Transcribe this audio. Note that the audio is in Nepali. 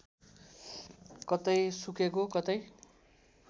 कतै सुकेको कतै